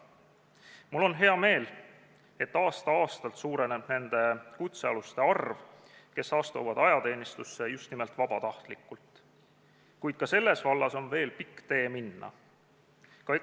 Mul on hea meel, et aasta-aastalt suureneb nende kutsealuste arv, kes astuvad ajateenistusse just nimelt vabatahtlikult, kuid ka selles vallas on veel pikk tee minna.